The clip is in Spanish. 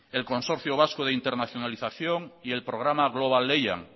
el consorcio vasco de internacionalización y el programa global lehian